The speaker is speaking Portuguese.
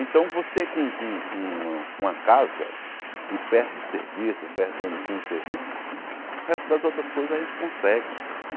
Então, você com com com uma uma casa e perto do serviço perto serviço, o resto das outras coisas a gente consegue.